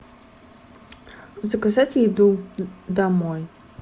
заказать еду домой